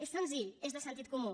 és senzill és de sentit comú